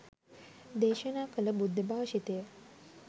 දේශනා කළ බුද්ධභාෂිතය